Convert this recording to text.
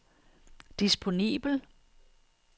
disponibel